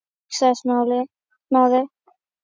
hugsaði Smári.